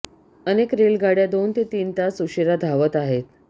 अनेक रेलगाडय़ा दोन ते तीन तास उशिरा धावत आहेत